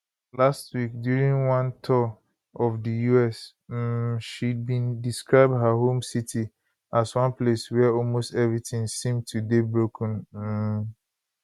last week during one tour of di us um she bin describe her home city as one place wia almost everytin seem to dey broken um